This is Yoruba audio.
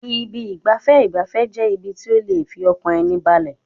Ibi ìgbafẹ́ ìgbafẹ́ jẹ́ ibi tí ó lè fi ọkàn ẹni balẹ̀.